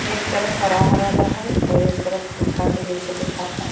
एक तरफ हरा हरा बाहे और एक तरफ सूखा के जैसा देखाता।